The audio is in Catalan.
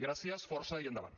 gràcies força i endavant